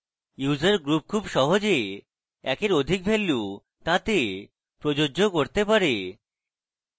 user group খুব সহজে একের অধিক ভ্যালু তাতে প্রযোজ্য করতে পারে